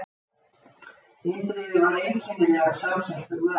Indriði var einkennilega samsettur maður.